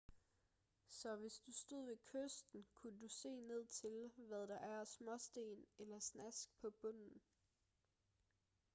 så hvis du stod ved kysten kunne du se ned til hvad der er af småsten eller snask på bunden